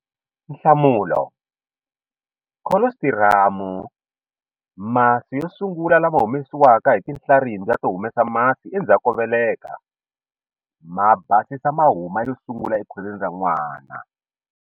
Nhlamulo- Kholositiramu, masi yo sungula lama humesiwaka hi tinhlarimbya to humesa masi endzhaku ko veleka, ma basisa mahuma yo sungula ekhwirini ra n'wana.